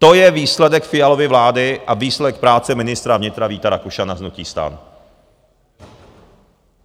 To je výsledek Fialovy vlády a výsledek práce ministra vnitra Víta Rakušana z hnutí STAN.